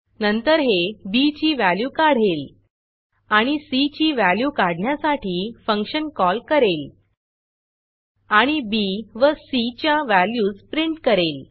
नंतर हे बी ची व्हॅल्यू काढेल आणि सी ची व्हॅल्यू काढण्यासाठी फंक्शन कॉल करेल आणि बी व सी च्या व्हॅल्यूज प्रिंट करेल